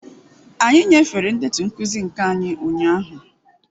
Anyị nyefere ndetu nkuzi nke anyị ụnyahụ.